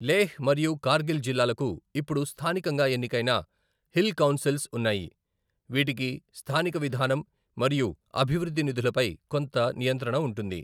లేహ్ మరియు కార్గిల్ జిల్లాలకు ఇప్పుడు స్థానికంగా ఎన్నికైన హిల్ కౌన్సిల్స్ ఉన్నాయి, వీటికి స్థానిక విధానం మరియు అభివృద్ధి నిధులపై కొంత నియంత్రణ ఉంటుంది.